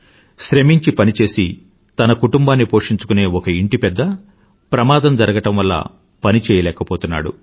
శ్రమించి పని చేసి తన కుటుంబాన్ని పోషించుకునే ఒక ఇంటి పెద్ద ప్రమాదం జరగడం వల్ల పని చెయ్యలేకపోతున్నాడు